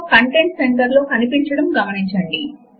Windows లో start menu కు వెళ్ళండి